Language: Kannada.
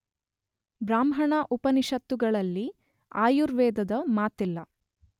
ಬ್ರಾಹ್ಮಣ ಉಪನಿಷತ್ತುಗಳಲ್ಲಿ ಆಯುರ್ವೇದದ ಮಾತಿಲ್ಲ.